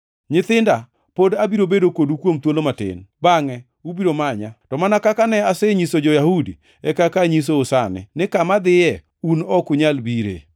“Nyithinda, pod abiro bedo kodu kuom thuolo matin. Bangʼe ubiro manya, to mana kaka ne anyiso jo-Yahudi e kaka anyisou sani, ni kama adhiye un ok unyal bire.